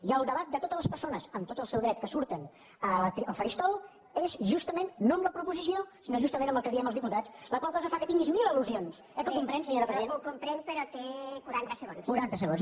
i el debat de totes les persones amb tot el seu dret que surten al faristol és justament no amb la proposició sinó justament amb el que diem els diputats la qual cosa fa que tinguis mil al·lusions eh que ho comprèn senyora presidenta quaranta segons